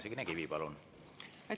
Signe Kivi, palun!